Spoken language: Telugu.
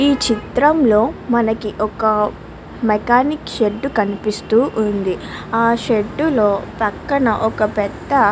ఈ చిత్రంలో మనకి ఒక మెకానిక్ షెడ్డు కనిపిస్తూ ఉంది. ఆ షెడ్డు లో పక్కన ఒక పెద్ద --